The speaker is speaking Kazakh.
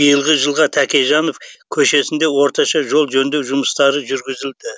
биылғы жылға тәкежанов көшесінде орташа жол жөндеу жұмыстары жүргізілді